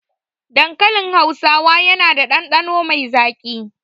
Dankalin hausa yana da ɗanɗano mai zaƙi